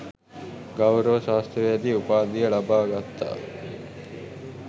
ගෞරව ශාස්ත්‍රවේදී උපාධිය ලබා ගත්තා.